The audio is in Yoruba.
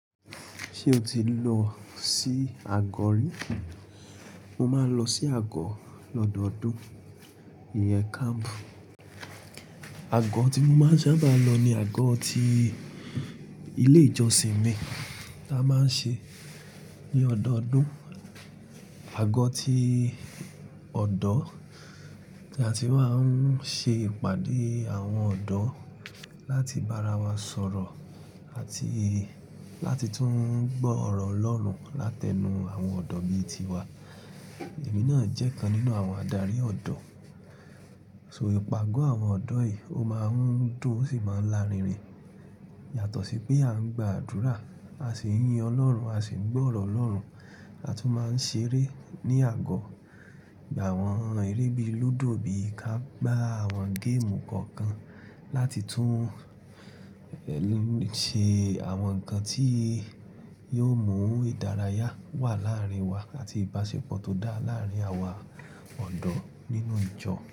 Ṣé o ti lọ sí àgọ́ rí? Mo máa ń lọ sí àgọ́ lọ́dọọdún. Ìyẹn Ago. Àgọ́ tí mo máa ń sábà lọ ni àgọ́ ti ilé ìjọsìn mi tí a máa ń ṣe ní ọdọọdún. Àgọ́ ti ọ̀odọ́ tí a ti máa ń ṣe ìpàdé àwọn ọ̀odọ́om láti bá ara wa sọ̀rọ̀ àti láti tún gbọ́ ọ̀rọ̀ Ọlọ́run látẹnu àwọn ọ̀odọ́ bí i tiwa. Èmi náà jẹ́ kan nínú àwọn adarí ọ̀dọ́. So ìpàgọ́ àwọn ọ̀odọ́ yìí ó máa ń dùn ó sì máa ń lárinrin. Yàtọ̀ sí pé à ń gba àdúrà, a sì ń yin Ọlọ́run, a sì ń gbọ́ ọ̀rọ̀ Ọlọ́run. A tún máa ń ṣeré ní àgọ́. Gba àwọn eré bíi lúdò, bíi ká, gbá àwọn ere kankan láti tún ṣe àwọn nǹkan tí yóò mú ìdárayá wà láàárín wa àti ìbáṣepọ̀ tó dá láàárín àwa ọ̀odọ́ nínú ìjọ.